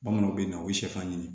Bamananw bɛ na u bɛ sɛfan ɲini